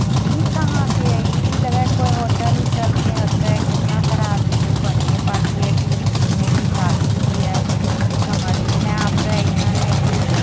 इ कहा के है इ भी लगा हेय कोय होटल उटल के हके केतना सारा आदमी हेय बर्थडे पार्टी हेय की मीटिंग हेय की शादी उदी है समझ में ना आप रहा ऐसन है की --